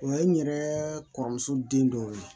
O ye n yɛrɛ kɔrɔmuso den dɔw ye